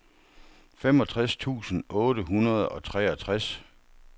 femogtres tusind otte hundrede og treogtres